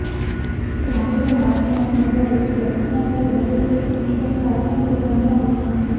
ਜਾਗਦੇ ਮਾਪਿਆਂ ਦੀ ਨਜ਼ਰ ਵਿਚ ਲੜਕੀਆਂ ਦੇ ਘਰ ਵਿਚ ਤਕਰੀਬਨ ਸਾਰੀਆਂ ਕੁਰਬਾਨੀਆਂ ਹੋਈਆਂ